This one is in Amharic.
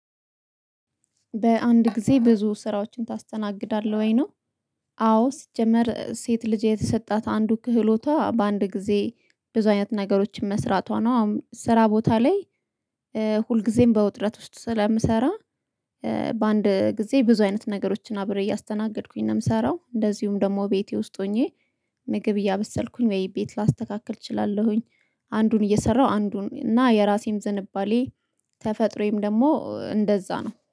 በአንድ ጊዜ ብዙ ስራዎችን ታስተናግዳለህ ወይ? ነው። አዎ! ስጀምር፣ ሴት ልጅ የተሰጣት አንዱ ክህሎቷ በአንድ ጊዜ ብዙ አይነት ነገሮችን መሥራቷ ነው። ስራ ቦታ ላይ፣ እ ሁልጊዜም በውጥረት ውስጥ ስለምሰራ፣ እ በአንድ ጊዜ ብዙ አይነት ነገሮችን አብረው እያስተናገድኩኝ ነው የምሰራው። እንደዚሁም ደግሞ ቤቴ ውስጥ ሆኜ ምግብ እያበሰልኩኝ ወይ ቤት ላስተካክል እችላለሁኝ። አንዱን እየሰራሁ አንዱን፣ እና የራሴም ዝንባሌ፣ ተፈጥሮዬም ደግሞ እንደዛ ነው።